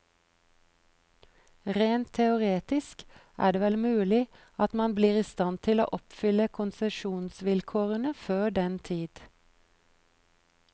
Rent teoretisk er det vel mulig at man blir i stand til å oppfylle konsesjonsvilkårene før den tid.